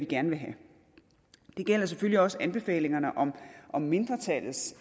gerne vil have det gælder selvfølgelig også anbefalingerne om om mindretallets